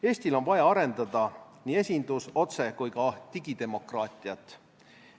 Eestil on vaja arendada nii esindus-, otse- kui ka digidemokraatiat.